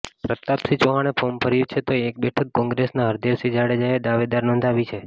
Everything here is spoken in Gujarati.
પ્રતાપસિંહ ચૌહાણે ફોર્મ ભર્યું છે તો એક બેઠક કોંગ્રેસના હરદેવસિંહ જાડેજાએ દાવેદારી નોંધાવી છે